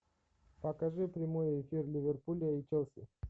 покажи прямой эфир ливерпуля и челси